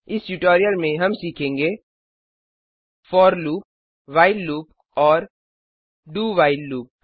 इस ट्यूटोरियल में हम सीखेंगे फोर लूप व्हाइल लूप और dowhile लूप